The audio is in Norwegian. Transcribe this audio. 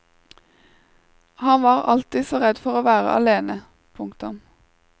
Han var alltid så redd for å være alene. punktum